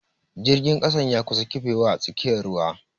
Jirgin kasan ya kusa kifewa a tsakiyar ruwa.